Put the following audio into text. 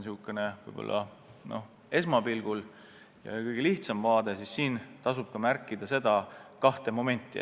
See on säärane kõige lihtsam vaade, aga siin tasub märkida kahte momenti.